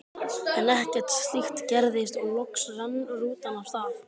En ekkert slíkt gerðist og loks rann rútan af stað.